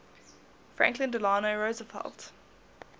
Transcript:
franklin delano roosevelt